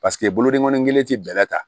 Paseke bolodenkɔni kelen tɛ bɛlɛ ta